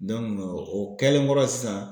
o kɛlen kɔrɔ sisan